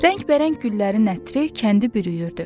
Rəngbərəng güllərin ətri kəndi bürüyürdü.